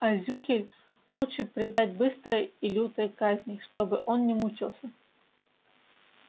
а зюхель лучше предать быстрой и лютой казни чтобы он не мучался